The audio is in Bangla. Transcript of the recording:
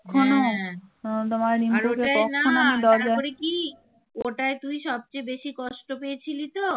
ওটায় তুই সবচেয়ে বেশী কষ্ট পেয়েছিলি তো